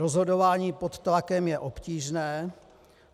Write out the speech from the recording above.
Rozhodování pod tlakem je obtížné.